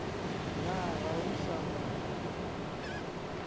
na ga o sa mo